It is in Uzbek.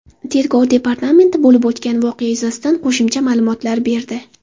Tergov departamenti bo‘lib o‘tgan voqea yuzasidan qo‘shimcha ma’lumotlar berdi .